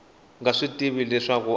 nga swi tivi leswaku a